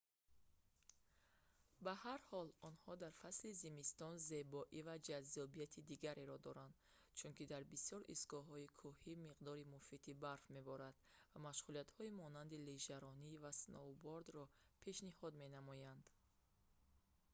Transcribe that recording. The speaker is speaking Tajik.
ба ҳар ҳол онҳо дар фасли зимистон зебоӣ ва ҷаззобияти дигареро доранд чунки дар бисёр истгоҳҳои кӯҳӣ миқдори муфиди барф меборад ва машғулиятҳои монанди лижаронӣ ва сноубордро пешниҳод менамоянд